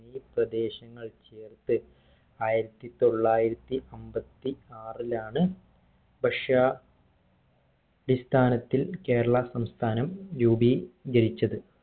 ഈ പ്രദേശങ്ങൾ ചേർത്ത് ആയിരത്തി തൊള്ളായിരത്തി അമ്പത്തി ആറിലാണ് ഭഷ്യ അടിസ്ഥാനത്തിൽ കേരളാ സംസ്ഥാനം രൂപീകരിച്ചത്